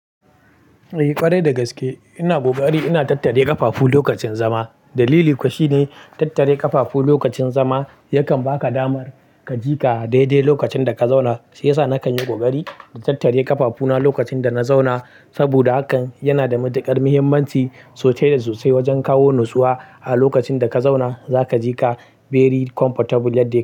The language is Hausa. Eh ƙwarai dagaske ina ƙoƙari ina tattare ƙafafu lokacin zama. Dalili kuwa shine tattare ƙafafu lokacin zama yakan baka damar ka jika dai-dai lokacin da ka zauna. Shi yasa na kan yi ƙoƙari na tattare ƙafafuna lokacin da na zauna saboda hakan yana da matuƙar muhimmanci sosai da sosai wajen kawo nutsuwa. A lokacin da ka zauna za ka jika very comfortable yadda.